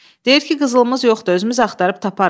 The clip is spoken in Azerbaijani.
Deyir ki, qızılımız yoxdur, özümüz axtarıb taparıq.